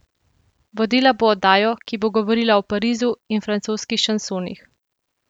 Vodila bo oddajo, ki bo govorila o Parizu in francoskih šansonih.